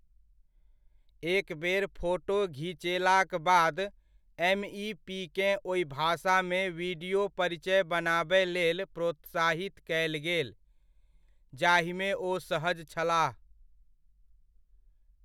एकबेर फोटो घिचेलाक बाद, एमइपीकेँ ओहि भाषामे वीडियो परिचय बनाबय लेल प्रोत्साहित कयल गेल, जाहिमे ओ सहज छलाह।